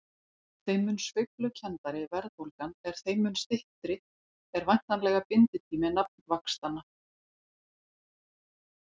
Þeim mun sveiflukenndari verðbólgan er þeim mun styttri er væntanlega binditími nafnvaxtanna.